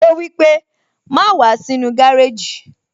Ó wípé, "Má wàá sínú gárèjì